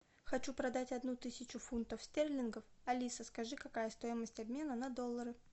хочу продать одну тысячу фунтов стерлингов алиса скажи какая стоимость обмена на доллары